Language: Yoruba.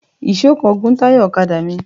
Èèsó kan gún táyà ọ̀kadà mi